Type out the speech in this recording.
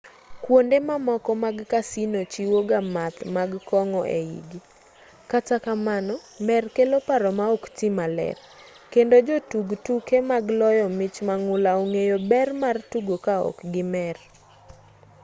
kwonde mamoko mag casino chiwoga math mag kong'o eigi kata kamano mer kelo paro ma oktii maler kendo jotug tuke mag loyo mich mang'ula ong'eyo ber mar tugo kaok gimer